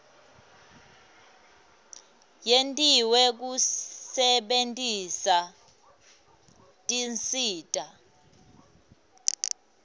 yentiwe kusebentisa tinsita